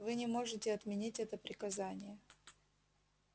вы не можете отменить это приказание